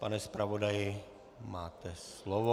Pane zpravodaji, máte slovo.